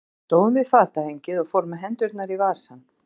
Hann stóð við fatahengið og fór með hendurnar í vasann.